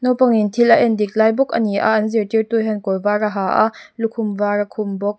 naupangin thil a endik lai bawk ani a an zirtirtu hian kawr var a ha a lukhum var a khum bawk.